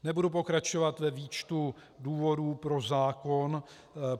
Nebudu pokračovat ve výčtu důvodů pro zákon.